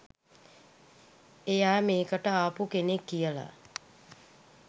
එයා මේකට ආපු කෙනෙක් කියලා